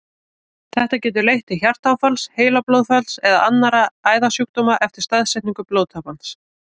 Þetta getur leitt til hjartaáfalls, heilablóðfalls eða annarra æðasjúkdóma eftir staðsetningu blóðtappans.